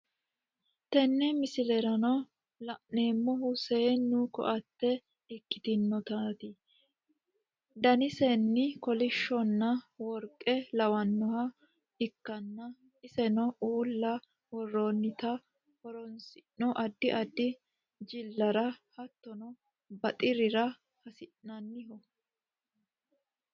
Teene miisleranno lanemohuu sennu koatee ekkitnotati danisiino kolishshonna workee lawanohaa ekkana esinno uula woronittana hoorosinno addi addi jilarra hattono baxerrira hasinanniho.